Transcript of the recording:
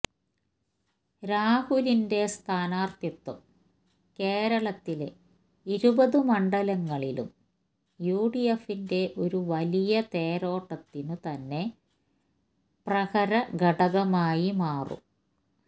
രാഹുലിന്റെ സ്ഥാനാര്ഥിത്വം കേരളത്തിലെ ഇരുപത് മണ്ഡലങ്ങളിലും യു ഡി എഫിന്റെ ഒരു വലിയ തേരോട്ടത്തിനു തന്നെ പ്രരകഘടകമായി മാറും